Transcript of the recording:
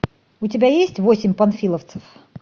у тебя есть восемь панфиловцев